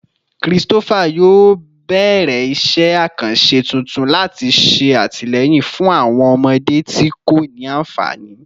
Christopher yoo bẹrẹ iṣẹ akanṣe tuntun lati ṣe atilẹyin fun awọn ọmọde ti ko ni anfani